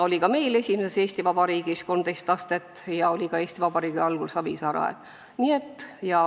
Oli ka meil esimeses Eesti Vabariigis 13 astet ja oli ka Eesti Vabariigi algul Savisaare ajal.